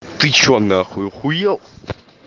ты что на хуй ахуел